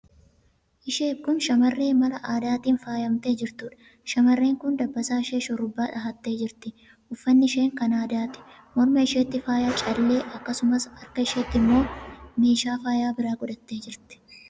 Isheeb kun shamarree mala aadaatiin faayamtee jirtuudha. Shamarreen kun dabbasaa ishee shurrubbaa dhahattee jirti. Uffatni ishee kan aadaati. Morma isheetti faayaa callee; akkasumas harka isheetti immoo meeshaa faayaa biraa godhattee jirti.